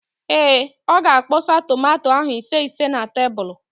Ee, ọ ga-akpọsa tomanto ahụ ise ise na tebulu.